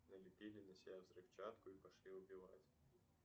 налепили на себя взрывчатку и пошли убивать